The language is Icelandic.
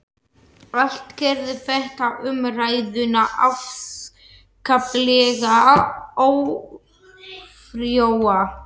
Allt gerði þetta umræðuna afskaplega ófrjóa.